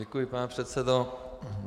Děkuji, pane předsedo.